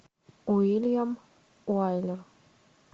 уильям уайлер